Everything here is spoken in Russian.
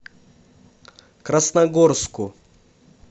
красногорску